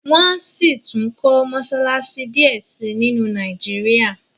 wón síi tún kò Mossalassi diẹ sí nínu Nàìjíríà